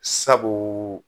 Sabu